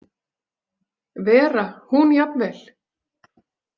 Vera hún jafnvel.